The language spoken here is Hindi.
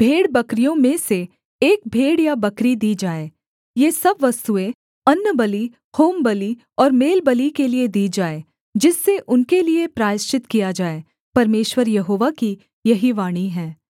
भेड़बकरियों में से एक भेड़ या बकरी दी जाए ये सब वस्तुएँ अन्नबलि होमबलि और मेलबलि के लिये दी जाएँ जिससे उनके लिये प्रायश्चित किया जाए परमेश्वर यहोवा की यही वाणी है